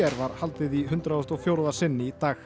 var haldið í hundrað og fjórða sinn í dag